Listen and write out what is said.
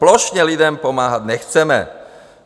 Plošně lidem pomáhat nechceme.